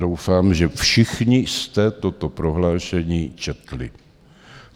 Doufám, že všichni jste toto prohlášení četli.